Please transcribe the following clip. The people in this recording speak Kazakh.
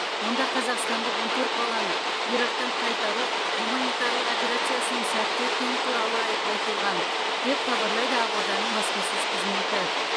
онда қазақстандық он төрт баланы ирактан қайтару гуманитарлық операциясының сәтті өткені туралы ай айтылған деп хабарлайды ақорданың баспасөз қызметі